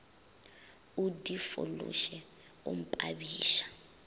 o di fološe o mpabiša